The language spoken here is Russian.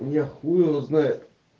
ну хуй его знает